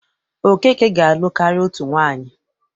Okeke ga-alụ karịa otu nwaanyị.